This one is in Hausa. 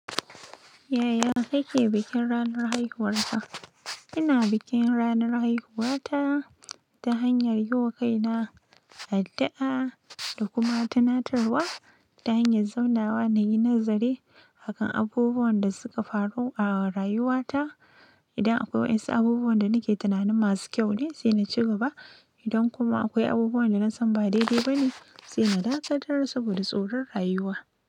Yaya kake bikin ranar haihuwarka? Ina bikin ranar haihuwata ta hanyar yi wa kaina addu'a da kuma tunatarwa ta hanyar zaunawa na yi nazari akan abubuwan da suka faru a rayuwata. Idan akwai wasu abubuwan da nake tunanin masu kyau ne, sai na ci gaba. Indan kuma akwai abubuwan danasan ba dai dai bane saina dakatar saboda tsoron rayuwa.